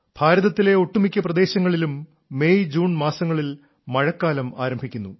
ഭാരതത്തിലെ ഒട്ടുമിക്ക പ്രദേശങ്ങളിലും മെയ്ജൂൺ മാസങ്ങളിൽ മഴക്കാലം ആരംഭിക്കുന്നു